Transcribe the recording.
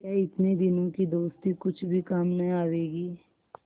क्या इतने दिनों की दोस्ती कुछ भी काम न आवेगी